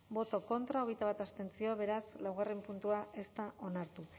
contra hogeita bat abstentzio beraz laugarren puntua ez da onartu